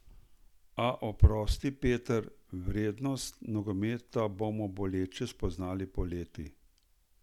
A, oprosti, Peter, vrednost nogometa bomo boleče spoznali poleti.